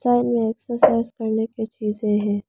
Side में exercise करने की चीजे हैं।